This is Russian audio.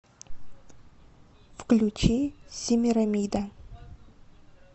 включи семирамида